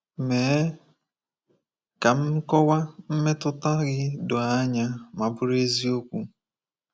Mee ka nkọwa mmetụta gị doo anya ma bụrụ eziokwu.